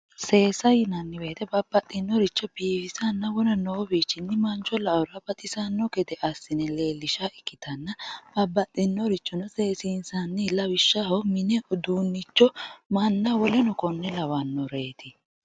seesa yinanni woyiite babbaxxinnoricho biifisanna wona noowiinni manchu la*ora baxisanno gede assine leellisha ikkitanna babbaxxinnorichono seesiinsanni lawishshaho mine uduunnicho manna woleno konne lawannoreeti.